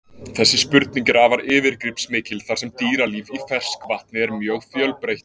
Þessi spurning er afar yfirgripsmikil þar sem dýralíf í ferskvatni er mjög fjölbreytt.